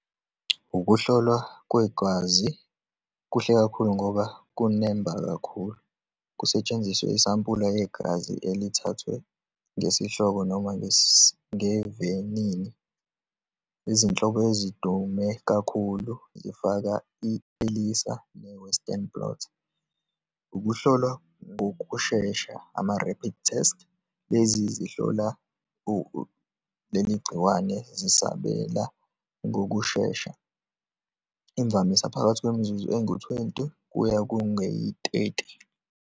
Ukuhlolwa kwegazi kuhle kakhulu ngoba kunemba kakhulu. Kusetshenziswe isampula yegazi elithathwe ngesihloko noma ngevenini. Izinhlobo ezidume kakhulu zifaka i-elisa ne-western blot. Ukuhlolwa ngokushesha, ama-rapid test, lezi zihlola leli gciwane, zisabela ngokushesha, imvamisa phakathi kwemizuzu engu-twenty kuya kungeyi-thirty.